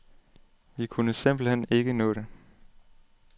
Vi kunne simpelt hen ikke nå det.